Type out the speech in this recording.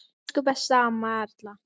Elsku besta amma Erla.